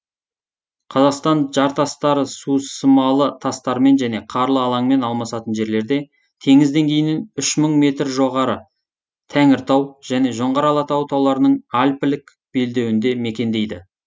қазақстан жартастары сусымалы тастармен және қарлы алаңмен алмасатын жерлерде теңіз деңгейінен үш мың метр жоғары тәңіртау және жоңғар алатауы тауларының альпілік белдеуінде мекендейді